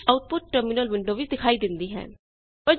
ਇਸ ਲਈ output terminal window ਵਿੱਚ ਦਿਖਾਈ ਦੇਂਦੀ ਹੈ